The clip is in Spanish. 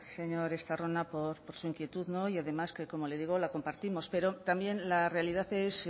señor estarrona por su inquietud no y además que como le digo la compartimos pero también la realidad es